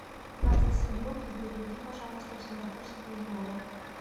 двадцать семь рупий переведи пожалуйста в сингапурские доллары